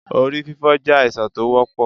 Orí fífọ́ jẹ́ àìsàn tó wọ́pọ̀.